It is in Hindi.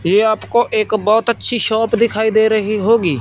ये आपको एक बहोत अच्छी शॉप दिखाई दे रही होगी।